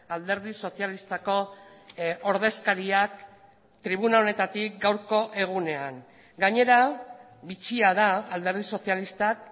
alderdi sozialistako ordezkariak tribuna honetatik gaurko egunean gainera bitxia da alderdi sozialistak